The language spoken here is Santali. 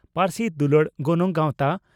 ᱯᱟᱹᱨᱥᱤ ᱫᱩᱞᱟᱹᱲ ᱜᱟᱱᱚᱝ ᱜᱟᱣᱛᱟ